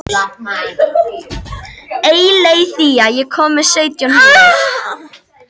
Og hún þeim þegar þau fóru að gefa sig.